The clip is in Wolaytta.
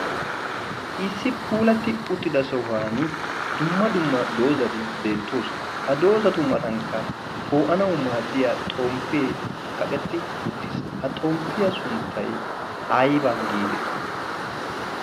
issi puulatti uttida sohuwan dumma dumma doozati beettoosona. ha doozatu matankka poo'anau maaddiya xomppee kaqetti uttiis. ha xomppiyaa sunttai aiyba giitetti?